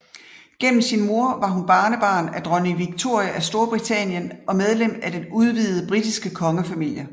Gennem sin mor var hun barnebarn af dronning Victoria af Storbritannien og medlem af den udvidede britiske kongefamilie